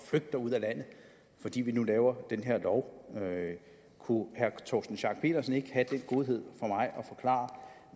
flygte ud af landet fordi vi nu laver den her lov kunne herre torsten schack pedersen ikke have den godhed